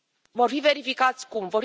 Vor fi verificați cum?